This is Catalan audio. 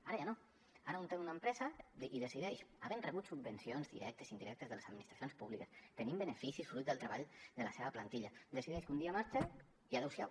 ara ja no ara un té una empresa i decideix havent rebut subvencions directes i indirectes de les administracions públiques tenint beneficis fruit del treball de la seva plantilla que un dia marxa i adeu siau